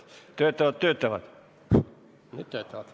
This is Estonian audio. Nüüd töötab.